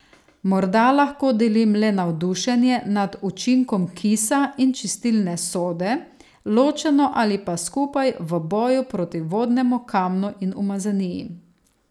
Morda lahko delim le navdušenje nad učinkom kisa in čistilne sode, ločeno ali pa skupaj, v boju proti vodnemu kamnu in umazaniji ...